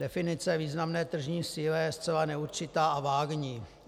Definice významné tržní síly je zcela neurčitá a vágní.